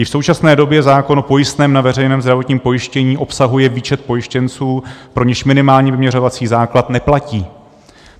I v současné době zákon o pojistném na veřejném zdravotním pojištění obsahuje výčet pojištěnců, pro něž minimální vyměřovací základ neplatí.